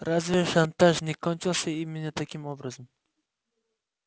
разве шантаж не кончился именно таким образом